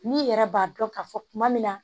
N'i yɛrɛ b'a dɔn ka fɔ kuma min na